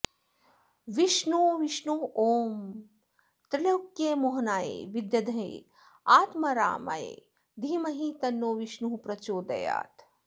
विष्णु विष्णु ॐ त्रैलोक्यमोहनाय विद्महे आत्मारामाय धीमहि तन्नो विष्णुः प्रचोदयात्